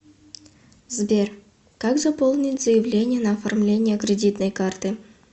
сбер как заполнить заявление на оформление кредитной карты